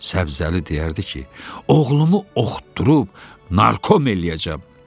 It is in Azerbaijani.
Səbzəli deyərdi ki, oğlumu oxutdurub narkom eləyəcəm.